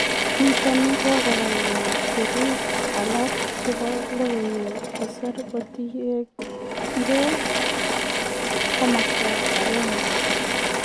Niton negogoyai siriik alak chebo logoiwek kosir kotienge komasta agenge